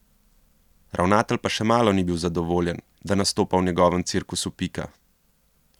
Ravnatelj pa še malo ni bil zadovoljen, da nastopa v njegovem cirkusu Pika.